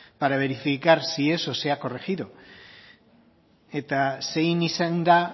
para verificar si eso se ha corregido eta zein izan da